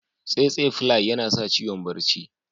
Yinasa ciwon barci.